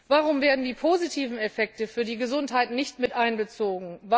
Warum werden die positiven Effekte für die Gesundheit nicht miteinbezogen?